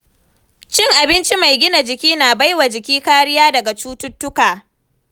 Cin abinci mai gina jiki na bai wa jiki kariya daga cututtuka.